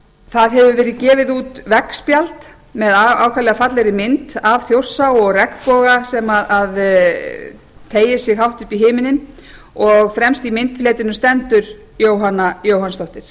það hefur verið gefið út veggspjald með ákaflega fallegri mynd af þjórsá og regnboga sem teygir sig hátt upp í himininn og fremst í myndletrinu stendur jóhanna jóhannsdóttir